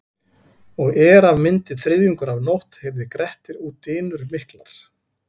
Og er af myndi þriðjungur af nótt heyrði Grettir út dynur miklar.